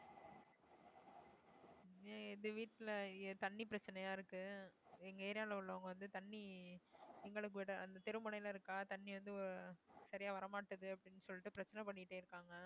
ஆஹ் இது வீட்டுல ஏ~ தண்ணி பிரச்சனையா இருக்கு எங்க area ல உள்ளவங்க வந்து தண்ணி எங்களுக்கு விட அந்த தெருமுனையில இருக்கா தண்ணி வந்து சரியா வரமாட்டேங்குது அப்படின்னு சொல்லிட்டு பிரச்சனை பண்ணிட்டே இருக்காங்க